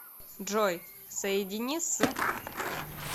джой соедини с